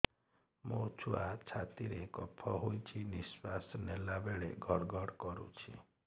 ମୋ ଛୁଆ ଛାତି ରେ କଫ ହୋଇଛି ନିଶ୍ୱାସ ନେଲା ବେଳେ ଘଡ ଘଡ କରୁଛି